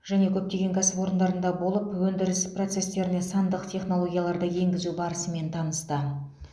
және көптеген кәсіпорындарында болып өндіріс процестеріне сандық технологияларды енгізу барысымен танысты